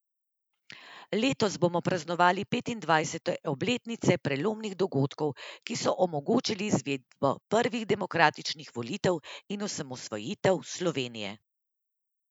Letos bomo praznovali petindvajsete obletnice prelomnih dogodkov, ki so omogočili izvedbo prvih demokratičnih volitev in osamosvojitev Slovenije.